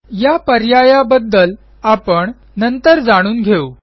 या पर्यायाबद्दल आपण नंतर जाणून घेऊ